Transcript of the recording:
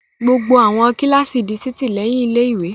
Gbogbo àwọn kíláàsì di títì lẹ́yìn ilé-ìwé.